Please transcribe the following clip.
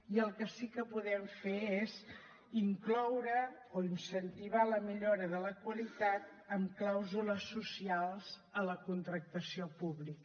i el que sí que podem fer és incloure o incentivar la millora de la qualitat amb clàusules socials a la contractació pública